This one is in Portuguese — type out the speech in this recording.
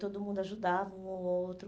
Todo mundo ajudava um ao outro.